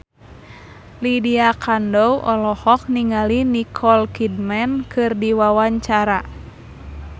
Lydia Kandou olohok ningali Nicole Kidman keur diwawancara